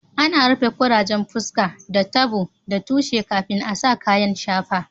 Ana rufe ƙurajen fusƙa da tabo da tushe kafin a sa kayan shafa.